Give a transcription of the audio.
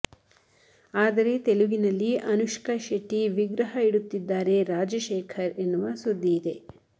ಆದರೆ ತೆಲುಗಿನಲ್ಲಿ ಅನುಷ್ಕ ಶೆಟ್ಟಿ ವಿಗ್ರಹ ಇಡುತ್ತಿದ್ದಾರೆ ರಾಜಶೇಖರ್ ಎನ್ನುವ ಸುದ್ದಿ ಇದೆ